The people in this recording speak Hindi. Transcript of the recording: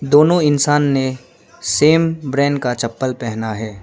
दोनों इंसान ने सेम ब्रांड का चप्पल पहना है।